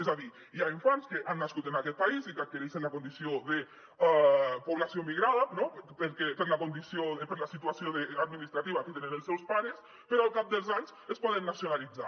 és a dir hi ha infants que han nascut en aquest país i que adquireixen la condició de població migrada no per la situació administrativa que tenen els seus pares però al cap dels anys es poden nacionalitzar